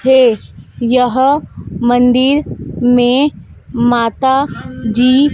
हे यह मंदिर में माता जी--